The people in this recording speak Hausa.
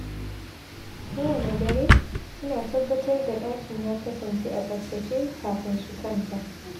Kowanne dare, suna tabbatar da ɗakin ya kasance a tsaftace kafin su kwanta.